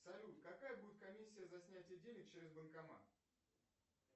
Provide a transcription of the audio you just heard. салют какая будет комиссия за снятие денег через банкомат